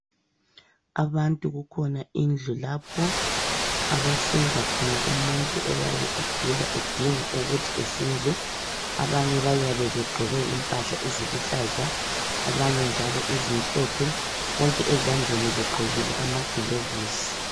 Abantu kukhona indlu lapho, abahlinza khona umuntu oyabe egula edinga ukuthi ehlinzwe. Abanye bayabe begqoke impahla eziluhlaza, abanye njalo ezimhlophe bonke ezandleni begqokile ama gilovisi